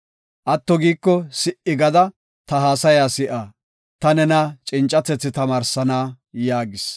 Atto giiko si77i gada, ta haasaya si7a; ta nena cincatethi tamaarsana” yaagis.